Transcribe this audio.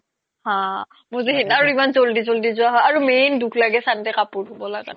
হা আৰু ইমান জল্দি জল্দি গুচি যাই আৰু main দুখ লাগে কাপুৰ ধুব লাগা তো